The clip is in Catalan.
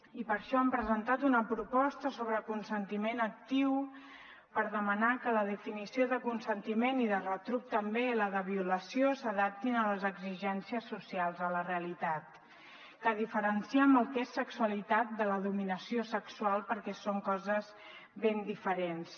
i per això hem presentat una proposta sobre consentiment actiu per demanar que la definició de consentiment i de retruc també la de violació s’adaptin a les exigències socials a la realitat que diferenciem el que és sexualitat de la dominació sexual perquè són coses ben diferents